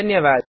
धन्यवाद